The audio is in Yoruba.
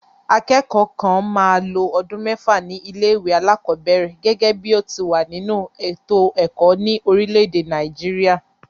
Akẹ́kọ̀ọ́ kan máa lo ọdún mẹ́fà ní ilé-ìwé alákọ̀ọ́bẹ̀ẹ̀rẹ̀ gẹ́gẹ́ bí ó ti wà nínú ètò ẹ̀kọ́ ní orílẹ̀-èdè Nàìjíríà.